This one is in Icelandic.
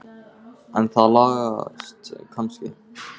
En það lagast kannski.